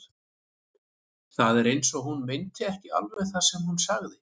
Það var eins og hún meinti ekki alveg það sem hún sagði.